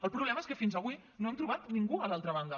el problema és que fins avui no hem trobat ningú a l’altra banda